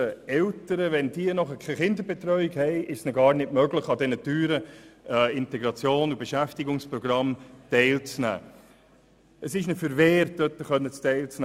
Wenn sie keine Kinderbetreuung haben, können sie an den teuren Beschäftigungsprogrammen nicht teilnehmen.